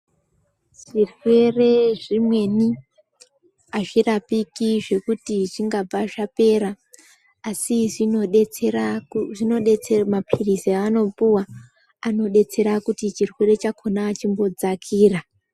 Zvirwere zvimweni azvirapiki zvekuti chingabva zvapera asi zvinodetsera ku zvinodetse mapirizi aanopuwa anodetsera kuti chirwere chakhona chimbodzakira.